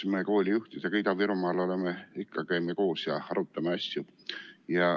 Me koolijuhtidega Ida-Virumaal käime ikka koos ja arutame asju.